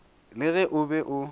le ge o be o